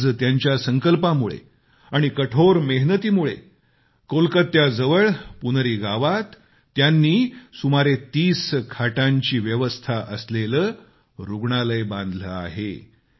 आज त्यांच्या संकल्पामुळे आणि त्यांच्या कठोर मेहनतीमुळेकोलकात्याजवळ पुनरी गावात त्यानी सुमारे 30 खाटांची व्यवस्था असलेले रुग्णालय बनवले आहे